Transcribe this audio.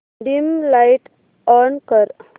dim light on कर